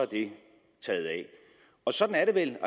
det taget af og sådan er det vel